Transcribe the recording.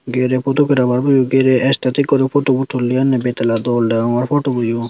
gere photographarboyo gere stetik guri photubo tuli anne betala dol degongor photoboyo.